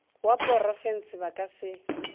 wa porofense ba ka se